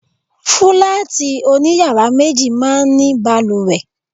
Fúláàtì oní yàrá méjì máa ń ní balùwẹ̀.